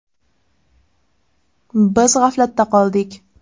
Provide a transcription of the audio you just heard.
Biz g‘aflatda qoldik.